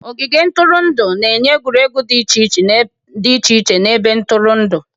Ogige ntụrụndụ na-enye egwuregwu dị iche iche na ebe ntụrụndụ.